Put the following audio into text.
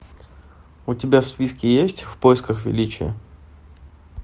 у тебя в списке есть в поисках величия